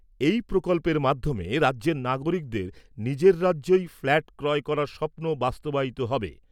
এই প্রকল্পের মাধ্যমে রাজ্যের নাগরিকদের নিজের রাজ্যেই ফ্ল্যাট ক্রয় করার স্বপ্ন বাস্তবায়িত হবে।